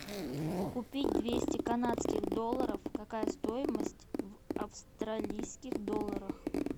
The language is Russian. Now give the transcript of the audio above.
купить двести канадских долларов какая стоимость в австралийских долларах